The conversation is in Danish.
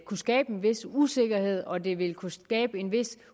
kunne skabe en vis usikkerhed og at det vil kunne skabe en vis